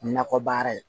Nakɔ baara ye